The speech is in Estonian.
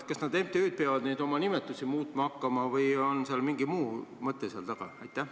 Kas need MTÜ-d peavad nüüd oma nimetusi muutma hakkama või on sel mingi muu mõte?